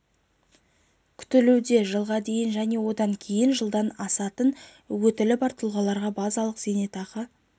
ағымдағы көлемімен салыстырғанда екі есеге көбейеді егер бұл сома қазір мың теңгені көрсетсе жылдың шілдесінен